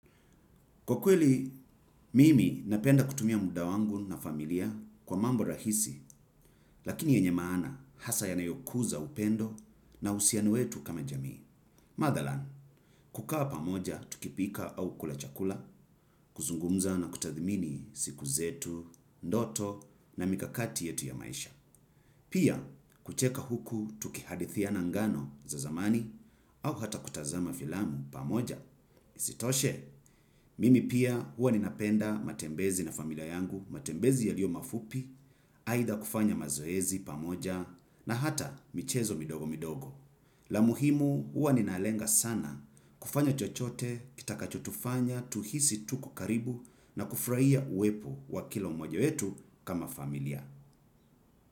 Kwa kweli, mimi napenda kutumia muda wangu na familia kwa mambo rahisi, lakini yenye maana hasa yanayokuza upendo na uhusiano wetu kama jamii. Mathalan, kukaa pamoja tukipika au kula chakula, kuzungumza na kutathmini siku zetu, ndoto na mikakati yetu ya maisha. Pia, kucheka huku tukihadithiana ngano za zamani au hata kutazama filamu pamoja. Isitoshe, mimi pia huwa ninapenda matembezi na familia yangu, matembezi yaliyo mafupi, aidha kufanya mazoezi pamoja na hata michezo midogo midogo. La muhimu huwa ninalenga sana kufanya chochote, kitakachotufanya, tuhisi tuko karibu na kufurahia uwepo wa kila mmoja wetu kama familia.